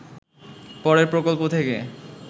পরে প্রকল্প থেকে